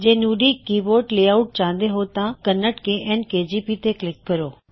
ਜੇ ਤੁਸੀਂ Nudi keyboard layout ਚਾਹੁੰਦੇ ਹੋ ਤਾਂ ਕੰਨੜ kn ਕੇਜੀਪੀ ਤੇ ਕਲਿੱਕ ਕਰੋ